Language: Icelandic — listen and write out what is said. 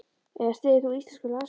Eða styður þú íslensku landsliðin?